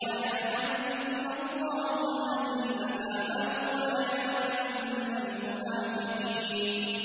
وَلَيَعْلَمَنَّ اللَّهُ الَّذِينَ آمَنُوا وَلَيَعْلَمَنَّ الْمُنَافِقِينَ